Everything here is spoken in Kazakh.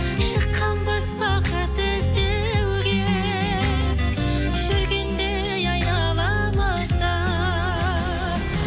шыққанбыз бақыт іздеуге жүргендей айналамызда